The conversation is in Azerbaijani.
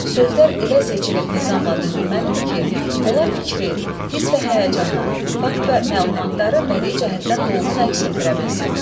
Sözlər elə seçilib nizamla düzülməlidir ki, onlar fikri, hiss və həyəcanı, fakt və məlumatları bədii cəhətdən dolğun əks etdirə bilsin.